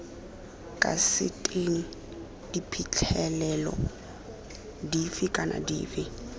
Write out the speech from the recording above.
kaseteng diphitlhelelo dife kana dife